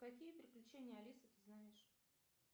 какие приключения алисы ты знаешь